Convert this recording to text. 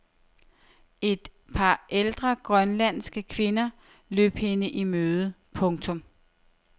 Et par ældre grønlandske kvinder løb hende i møde. punktum